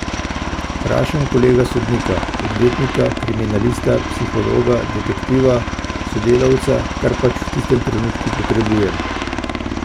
Vprašam kolega sodnika, odvetnika, kriminalista, psihologa, detektiva, sodelavca, kar pač v tistem trenutnku potrebujem.